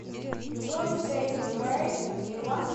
джой стэй эвэй нирвана